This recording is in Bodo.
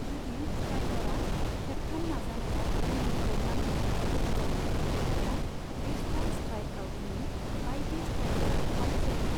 जुदि स्ट्राइकरा खेबथाम नाजानायाव गिलिखौ नांहोनायाव फेलें जायो, अब्ला बेसब'ल स्ट्राइक आउटनि बायदि स्ट्राइकरा अउट जायो।